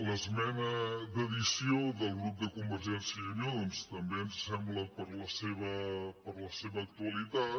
l’esmena d’addició del grup de convergència i unió doncs també ens ho sembla per la seva actualitat